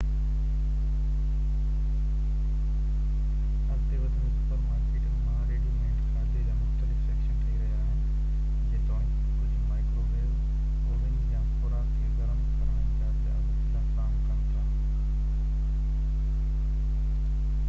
اڳتي وڌندي سپر مارڪيٽن مان ريڊي-ميڊ کاڌي جا مختلف سيڪشن ٺهي رهيا آهن جيتوڻيڪ ڪجهه مائڪرو ويوو اوون يا خوراڪ کي گرم ڪرڻ جا ٻيا وسيلا فراهم ڪن ٿا